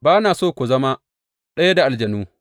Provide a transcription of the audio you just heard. Ba na so ku zama ɗaya da aljanu.